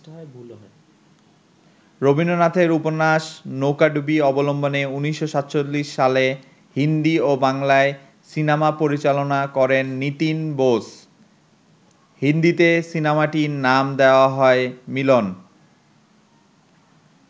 রবীন্দ্রনাথের উপন্যাস ‘নৌকাডুবি’ অবলম্বনে ১৯৪৭ সালে হিন্দি ও বাংলায় সিনেমা পরিচালনা করেন নীতিন বোস। হিন্দিতে সিনেমাটির নাম দেওয়া হয় ‘মিলন’।